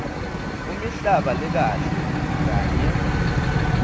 kumihlaba lekahle kanye